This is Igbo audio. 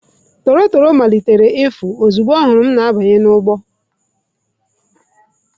Tọrotoro malitere ịfụ ozugbo ọ hụrụ m na-abanye n'ugbo.